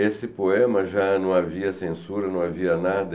Esse poema já não havia censura, não havia nada.